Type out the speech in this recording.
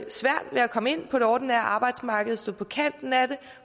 komme ind på det ordinære arbejdsmarked står på kanten af det og